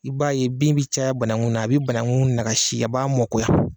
I b'a ye bin bi caya banagun na a bɛ banagun nakasi a b'a mɔkoya.